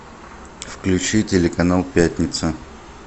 включи телеканал пятница